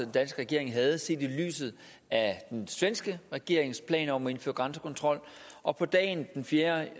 danske regering havde set i lyset af den svenske regerings planer om at indføre grænsekontrol og på dagen den fjerde